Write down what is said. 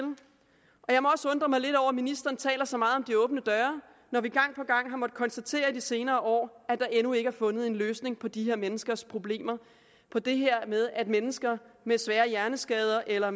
ministeren taler så meget om de åbne døre når vi gang på gang har måttet konstatere i de senere år at der endnu ikke fundet en løsning på de her menneskers problemer på det her med at mennesker med svære hjerneskader eller